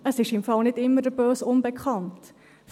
– Es ist im Übrigen nicht immer der böse Unbekannte.